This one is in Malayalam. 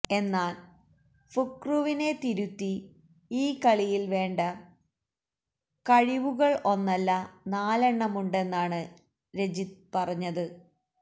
എന്നാല് ഫുക്രുവിനെ തിരുത്തി ഈ കളിയില് വേണ്ട കഴിവുകള് ഒന്നല്ല നാലെണ്ണമുണ്ടെന്നാണ് രജിത് പറഞ്ഞത്